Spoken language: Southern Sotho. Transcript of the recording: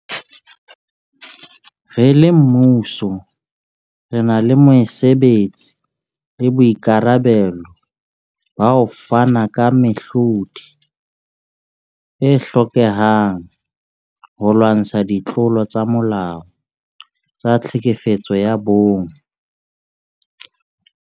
Re le mmuso, re na le mosebetsi le boikarabelo ba ho fana ka mehlodi e hlokehang holwantshwa ditlolo tsa molao tsa tlhekefetso ya bong.